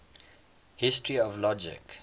history of logic